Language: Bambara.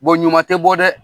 ɲuman tɛ bɔ dɛ.